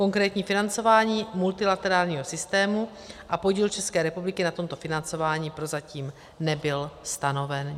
Konkrétní financování multilaterálního systému a podíl České republiky na tomto financování prozatím nebyl stanoven.